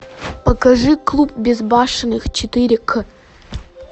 покажи клуб безбашенных четыре к